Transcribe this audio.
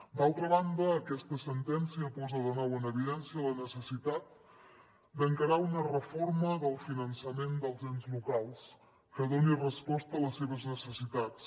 d’altra banda aquesta sentència posa de nou en evidència la necessitat d’encarar una reforma del finançament dels ens locals que doni resposta a les seves necessitats